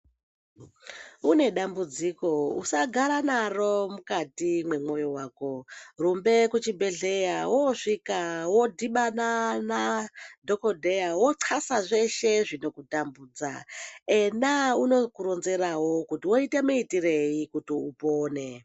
Une dambudziko usagara naro mukati mwemwoyo wako, rumbe kuchibhedhlera wosvika wodhibana nadhokodheya woqasa zveshe zvinokutambudza. Ena unokuronzerawo kuti woita muitirei kuti upone.